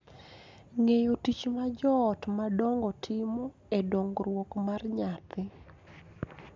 Ng�eyo tich ma joot madongo timo e dongruok mar nyathi